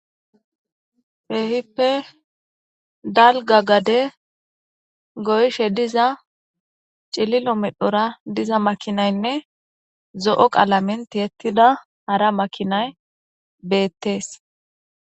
Kehippe dalga gade goyshe diza cililo medhora diza makinaynne zo7o qalament yettida hara makinay beettees.